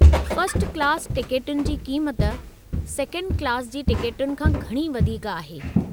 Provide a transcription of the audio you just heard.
First class टिकटुनि जी क़ीमति सेकेंड क्लास जी टिकटुनि खां घणी वधीक आहे।